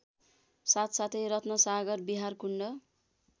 साथसाथै रत्नसागर बिहारकुण्ड